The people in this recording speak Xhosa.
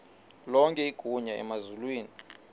lonke igunya emazulwini